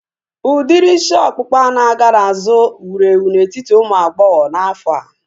Udiri isi ọkpụkpa na-aga n'azụ wuru ewu n'etiti ụmụ agbọghọ n'afọa